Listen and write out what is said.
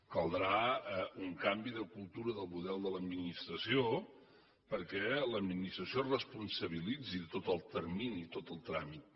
caldrà un canvi de cultura de model de l’administració perquè l’administració es responsabilitzi de tot el termini i tot el tràmit